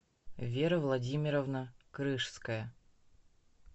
вера владимировна крыжская